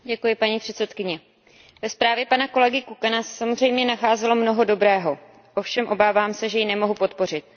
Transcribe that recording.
Paní předsedající, ve zprávě pana kolegy Kukana se samozřejmě nacházelo mnoho dobrého. Ovšem obávám se, že ji nemohu podpořit.